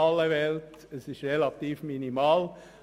Ich weiss, das ist relativ minimal.